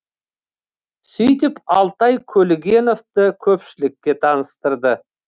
сөйтіп алтай көлгіновті көпшілікке таныстырды